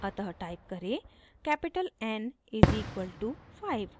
अतः टाइप करें capital n is equal to 5 n=5